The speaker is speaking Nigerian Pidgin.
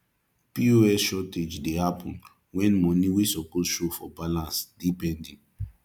pos shortage de happen when money wey suppose show for balance de pending